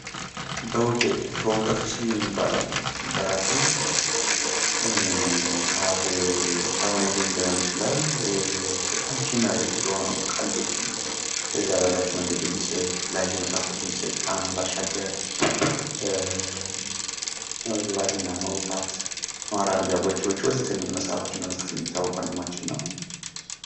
በዉቄ በዉቀቱ ስዩም ይባላል። ጸሃፊ፣ ደራሲ፣ ጸሃፌ-ተዉኔትም ሊሆን ይችላል። በጣም ተወዳጅ በሆነው ቀልዶች እና ለዛ ባላቸው የተለያዩ መጽሃፍቶችን በማሳተም ባሻገር መግባት እና መዉጣት፣ ሞራል በእጆችን ወዘተ የሚሉ መጽሃፎቹ የሚታወቅ ወንድማችን ነው።